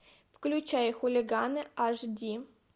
включай хулиганы аш ди